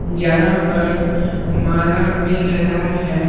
जहां पर माला मिल रहा है।